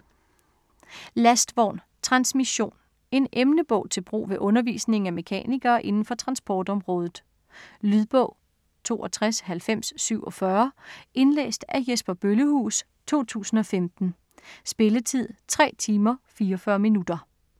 Lastvogn - Transmission En emnebog til brug ved undervisningen af mekanikere inden for transportområdet. Lydbog 629047 Indlæst af Jesper Bøllehuus, 2015. Spilletid: 3 timer, 44 minutter.